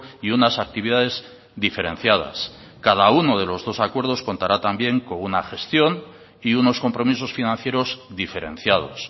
y unas actividades diferenciadas cada uno de los dos acuerdos contará también con una gestión y unos compromisos financieros diferenciados